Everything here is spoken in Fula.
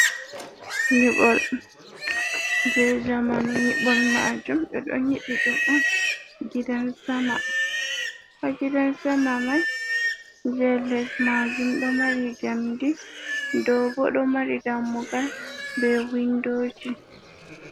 Nyiɓol jey zamanu, nyiɓol maajum ɓe ɗon nyiɓi ɗum on gidan sama. Haa gidan sama mai jey les maajum ɗo mari njamndi dow boo ɗo mari dammugal bee winndooji.